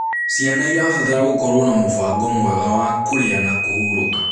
Ciana irabatara gũkorwo na mubango mwega wa kurĩa na kũhũrũka